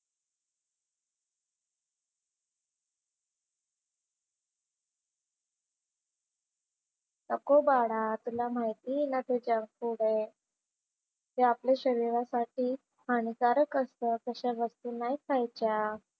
नको बाळा तुला माहिती आहे ना ते जंक फूड आहे. ते आपल्या शरीरासाठी हानिकारक असतं. तशा गोष्टी नाही खायच्या.